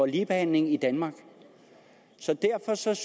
ligebehandlingen i danmark så derfor synes